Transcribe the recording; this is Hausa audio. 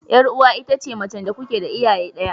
Yar uwa ita ce macen da kuke da iyaye daya.